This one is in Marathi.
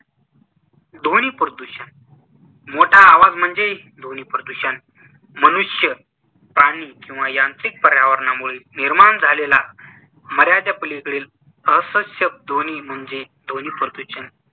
ध्वनीप्रदूषण मोठा आवाज म्हणजे ध्वनिप्रदूषण. मनुष्य, प्राणी किंवा यांत्रिक पर्यावरणामुळे निर्माण झालेला मर्यादेपलीकडील असह्य ध्वनी म्हणजे ध्वनिप्रदूषण.